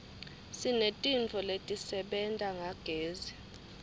sinetintfo letisebenta ngagezi